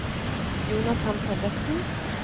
Jonathan Tollefsen